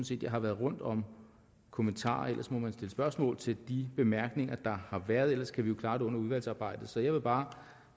set jeg har været rundt om kommentarerne ellers må man stille spørgsmål til de bemærkninger der har været ellers kan vi jo klare det under udvalgsarbejdet så jeg vil bare